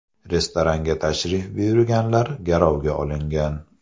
Restoranga tashrif buyurganlar garovga olingan.